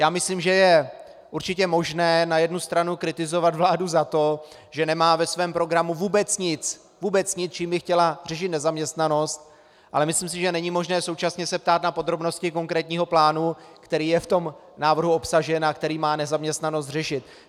Já myslím, že je určitě možné na jednu stranu kritizovat vládu za to, že nemá ve svém programu vůbec nic, čím by chtěla řešit nezaměstnanost, ale myslím si, že není možné současně se ptát na podrobnosti konkrétního plánu, který je v tom návrhu obsažen a který má nezaměstnanost řešit.